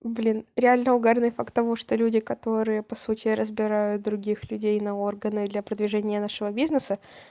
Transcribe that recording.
блин реально угарные факт того что люди которые по сути разбирают других людей на органы для продвижения вашего бизнеса